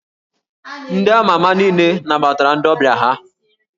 Ndị a ma ama niile nabatara ndị ọbịa ha